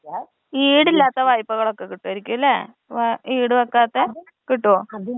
ഈടില്ലാത്ത വായ്പ്പകളൊക്കെ കിട്ടുമായിരിക്കുംലേ? ഈട് വെക്കാത്തെ. കിട്ടോ?